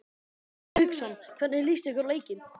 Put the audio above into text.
Hafsteinn Hauksson: Hvernig líst ykkur á leikinn?